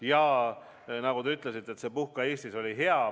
Ja nagu te ütlesite, et "Puhka Eestis!" oli hea.